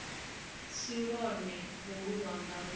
si lwone holu lwanga lu